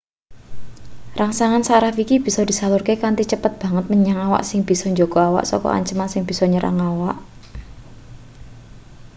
rangsangan saraf iki bisa disalurke kanthi cepet banget menyang awak sing bisa njaga awak saka anceman sing bisa nyerang awak